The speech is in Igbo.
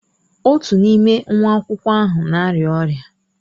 Otu n'ime nwa akwụkwọ ahụ na-arịa ọrịa.